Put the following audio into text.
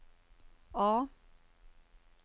A